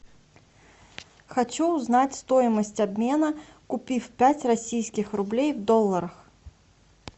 хочу узнать стоимость обмена купив пять российских рублей в долларах